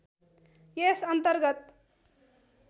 यस अन्तर्गत